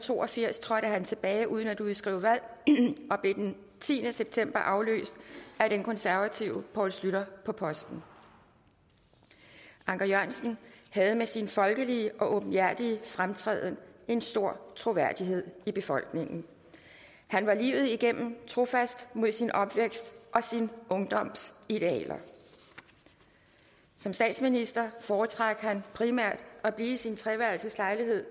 to og firs trådte han tilbage uden at udskrive valg og blev den tiende september afløst af den konservative poul schlüter på posten anker jørgensen havde med sin folkelige og åbenhjertige fremtræden en stor troværdighed i befolkningen han var livet igennem trofast mod sin opvækst og sin ungdoms idealer som statsminister foretrak han primært at blive i sin treværelseslejlighed